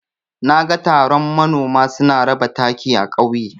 Naga taron manoma suna raba taki a ƙauye.